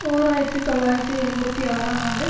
ஓர் ஆயிரத்தி தொள்ளாயிரத்தி எண்பத்தி ஆறாம் ஆண்டு